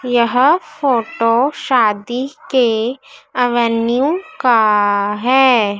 यह फोटो शादी के एवेन्यू का है।